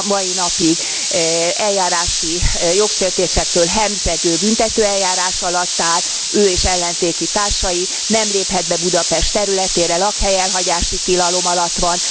Mind a mai napig eljárási jogsértésektől hemzsegő büntetőeljárás alatt áll ő és ellenzéki társai, nem léphet be Budapest területére, lakhelyelhagyási tilalom alatt van.